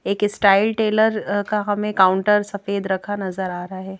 एक style tailor का हमें काउंटर सफेद रंग नजर आ रहा है।